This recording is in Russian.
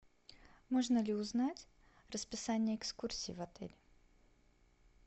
можно ли узнать расписание экскурсий в отеле